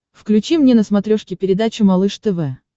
включи мне на смотрешке передачу малыш тв